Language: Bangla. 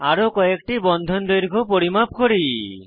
আরো কয়েকটি বন্ধন দৈর্ঘ্য পরিমাপ করি